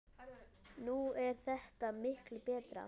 Nú er þetta miklu betra.